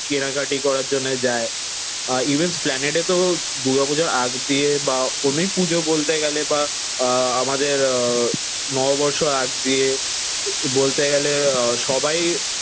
কেনাকাটি করার জন্য যায়। ইভেন এস্প্লানেটে তো দুর্গাপূজার আগ দিয়ে বা অনেক পুজো বলতে গেলে বা আহ আমাদের নববর্ষ আগ দিয়ে বলতে গেলে আহ সবাই